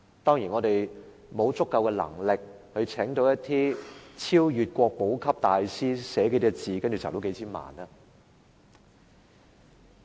當然，我們沒有足夠能力聘請一些超越國寶級的大師，書寫數個字便可以籌得數千萬元。